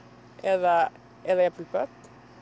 eða eða jafnvel börn